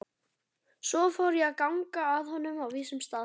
Svo fór ég að ganga að honum á vísum stað.